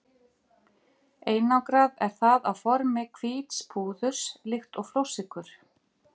Einangrað er það á formi hvíts púðurs líkt og flórsykur.